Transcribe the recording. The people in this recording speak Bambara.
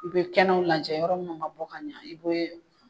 I be kɛnɛw lajɛ yɔrɔ minnu ma bɔ ka ɲɛ i be